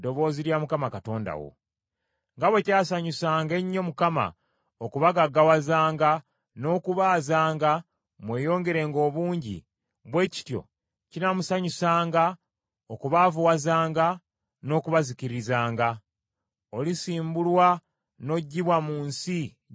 Nga bwe kyasanyusanga ennyo Mukama okubagaggawazanga n’okubaazanga mweyongerenga obungi, bwe kityo kinaamusanyusanga okubaavuwazanga n’okubazikirizanga. Olisimbulwa n’oggibwa mu nsi gy’ogenda okuyingira okugirya.